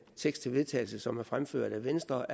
tekst til vedtagelse som er fremført af venstre